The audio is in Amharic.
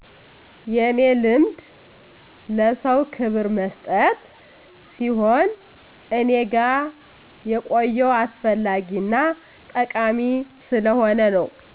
የኔ ልማድ ለሰዉ ክብር መስጠት ሲሆን እኔ ጋ የቆየው አስፈላጊ እና ጠቃሚ ስለሆነ ነዉ